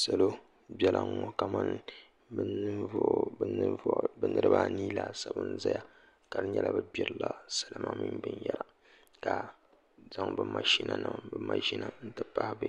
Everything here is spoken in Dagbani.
Salo biɛla n ŋo kamani bi niraba anii laasabu n ʒɛya ka di nyɛla bi gbirila salima mini binyɛra ka zaŋ bi maʒina nima n ti pahi bi